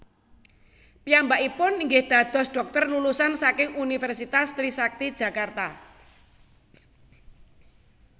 Piyambakipun inggih dados dhokter lulusan saking Universitas Trisakti Jakarta